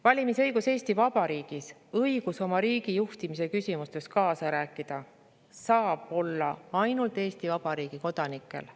Valimisõigus Eesti Vabariigis, õigus oma riigi juhtimise küsimustes kaasa rääkida saab olla ainult Eesti Vabariigi kodanikel.